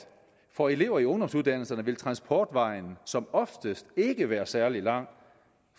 for elever i ungdomsuddannelserne vil transportvejen som oftest ikke være særligt lang